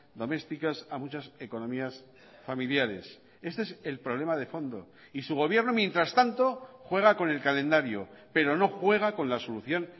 domésticas a muchas economías familiares este es el problema de fondo y su gobierno mientras tanto juega con el calendario pero no juega con la solución